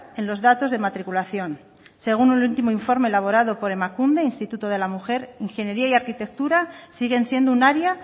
en los datos de matriculación según el último informe elaborado por emakunde instituto de la mujer ingeniería y arquitectura siguen siendo un área